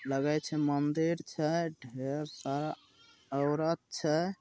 लागए छे मंदिर छे ढेर सारा औरत छे।